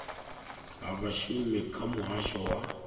ha vhashumi kha muhasho wa